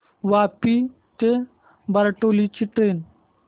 वापी ते बारडोली ची ट्रेन